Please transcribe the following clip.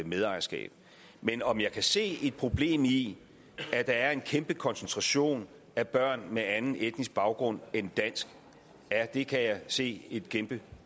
medejerskab men om jeg kan se et problem i at der er en kæmpe koncentration af børn med anden etnisk baggrund end dansk ja det kan jeg se et kæmpe